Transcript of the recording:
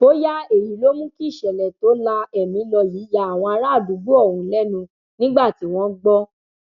bóyá èyí ló mú kí ìṣẹlẹ tó la ẹmí lọ yìí ya àwọn àràádúgbò ọhún lẹnu nígbà tí wọn gbọ